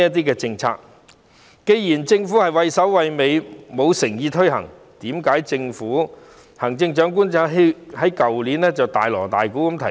既然政府畏首畏尾，沒有誠意推行，為甚麼政府和行政長官去年卻大鑼大鼓地提出？